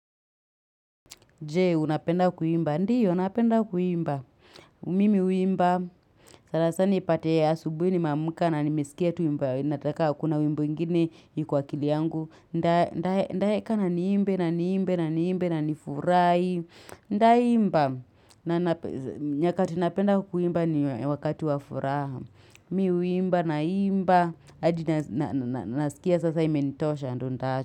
Je, unapenda kuimba. Ndio, unapenda kuimba. Mimi huimba. Sana sana, ipate asubuhi nimeamka na nimesikia tuimba. Nataka, kuna wimbo ingine iko kwa akili yangu. Ndae, ndae, ndae, kana niimbe, na niimbe, na niimbe, na niimbe, na niimbe, na nifurahi. Nda imba. Nyakati, napenda kuimba, ni wakati wa furaha. Mimi huimba, na imba. Hadi, nasikia sasa, imenitosha, ndo ntaacha.